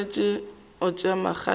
swanetše go tšea magato a